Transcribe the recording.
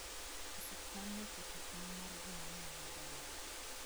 Osiptandno oketo tong' mar joma nyalo donjoe.